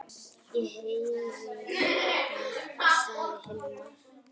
Ég heyri það, sagði Hilmar.